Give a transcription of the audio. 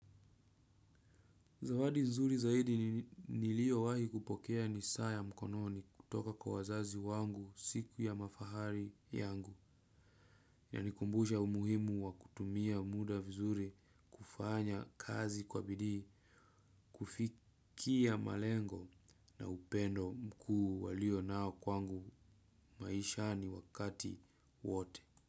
Zawadi nzuri zaidi niliyowahi kupokea ni saa ya mkononi kutoka kwa wazazi wangu siku ya mafahari yangu yanikumbusha umuhimu wa kutumia muda vizuri kufanya kazi kwa bidii kufikia malengo na upendo mkuu waliyo nayo kwangu maisha ni wakati wote.